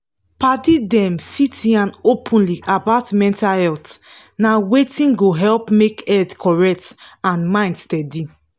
padi dem fit yan openly about mental health na wetin go help make head correct and mind steady.